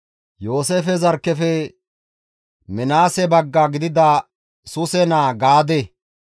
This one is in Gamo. Yooseefe zarkkefe Minaase bagga gidida Suse naa Gaadeye,